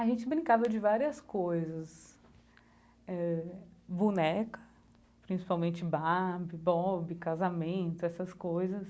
A gente brincava de várias coisas eh, boneca, principalmente Barbie, Bob, casamento, essas coisas.